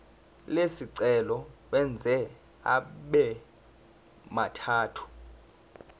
lesicelo uwenze abemathathu